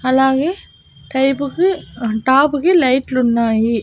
అలాగే టైపు కి టాపు కి లైట్ లు ఉన్నాయి.